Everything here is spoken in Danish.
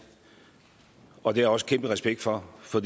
og det også kæmpe respekt for for